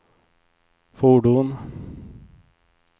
fordon